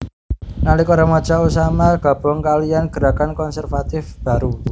Nalika remaja Osama gabung kalihan gerakan konservatif baru